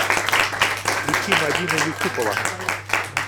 включи мадина юсупова